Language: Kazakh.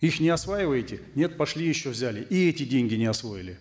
их не осваиваете нет пошли еще взяли и эти деньги не освоили